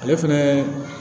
Ale fɛnɛ